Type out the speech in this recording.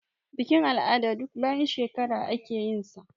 Bikin-al'ada duk bayan shekara ake yinsa.